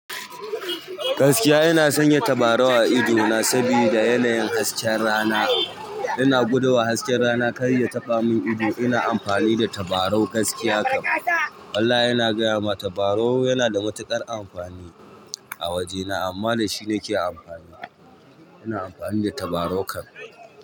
Gaskiya ina sanya tabarau a ido na saboda yanayin hasken rana. Ina guduwa hasken rana kar ya tafa min ido. Ina amfani da tabarau gaskiya kam. Walla ina gaya maka tabarau yana da matuƙar amfani a wajena. Amma dashi ne ke amfani, ina amfani da tabarau kam.